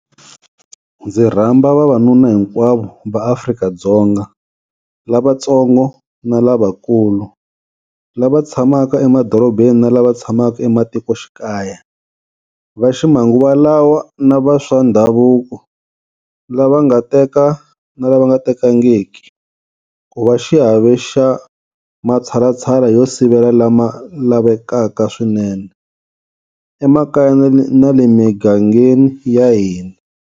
Ndzi rhamba vavanuna hinkwavo va Afrika-Dzonga, lavantsongo na lavakulu, lava tshamaka emadorobeni na lava tshamaka ematikoxikaya, va ximanguva lawa na va swa ndhavuko, lava nga teka na lava nga tekangiki, ku va xiave xa matshalatshala yo sivela lama lavekaka swinene emakaya na le migangeni ya hina.